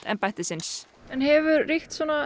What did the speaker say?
embættisins en hefur ríkt